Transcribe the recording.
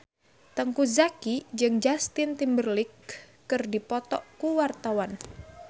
Teuku Zacky jeung Justin Timberlake keur dipoto ku wartawan